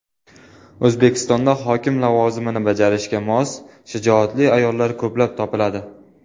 O‘zbekistonda hokim lavozimini bajarishga mos shijoatli ayollar ko‘plab topiladi.